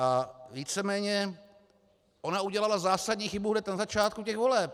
A víceméně ona udělala zásadní chybu hned na začátku těch voleb.